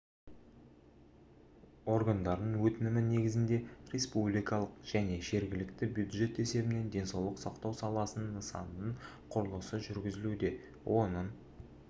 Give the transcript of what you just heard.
органдардың өтінімі негізінде республикалық және жергілікті бюджет есебінен денсаулық сақтау саласының нысанының құрылысы жүргізілуде оның